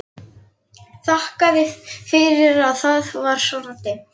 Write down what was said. Þakkaði fyrir að það var svona dimmt.